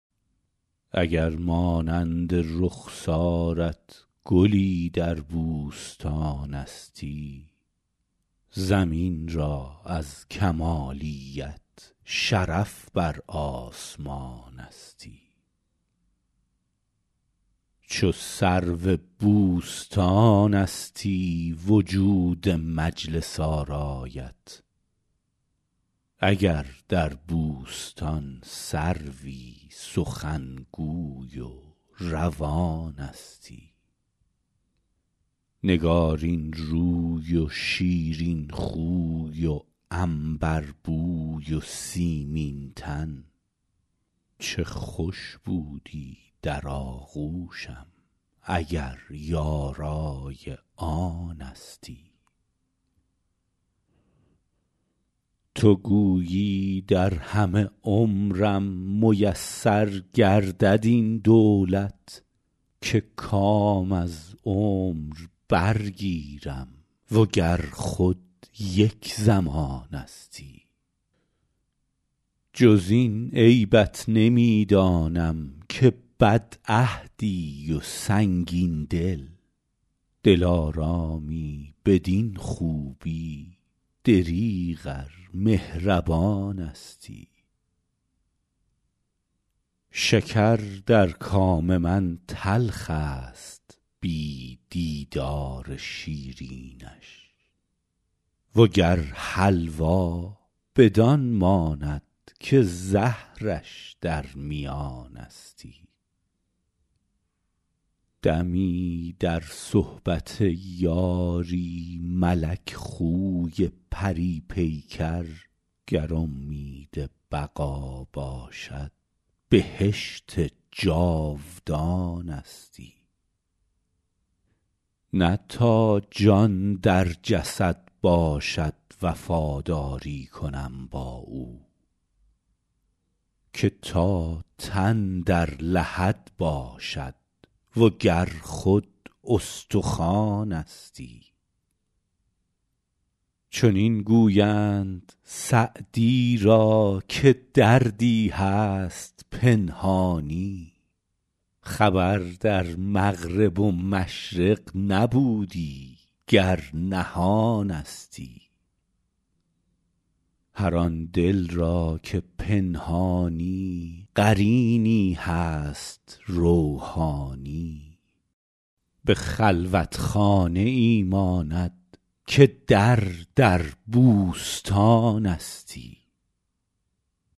اگر مانند رخسارت گلی در بوستانستی زمین را از کمالیت شرف بر آسمانستی چو سرو بوستانستی وجود مجلس آرایت اگر در بوستان سروی سخنگوی و روانستی نگارین روی و شیرین خوی و عنبربوی و سیمین تن چه خوش بودی در آغوشم اگر یارای آنستی تو گویی در همه عمرم میسر گردد این دولت که کام از عمر برگیرم و گر خود یک زمانستی جز این عیبت نمی دانم که بدعهدی و سنگین دل دلارامی بدین خوبی دریغ ار مهربانستی شکر در کام من تلخ است بی دیدار شیرینش و گر حلوا بدان ماند که زهرش در میانستی دمی در صحبت یاری ملک خوی پری پیکر گر امید بقا باشد بهشت جاودانستی نه تا جان در جسد باشد وفاداری کنم با او که تا تن در لحد باشد و گر خود استخوانستی چنین گویند سعدی را که دردی هست پنهانی خبر در مغرب و مشرق نبودی گر نهانستی هر آن دل را که پنهانی قرینی هست روحانی به خلوتخانه ای ماند که در در بوستانستی